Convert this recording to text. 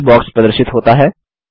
search box प्रदर्शित होता है